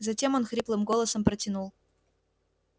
затем он хриплым голосом протянул